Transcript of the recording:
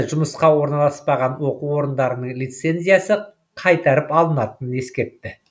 жұмысқа орналаспаған оқу орындарының лицензиясы қайтарып алынатынын ескертті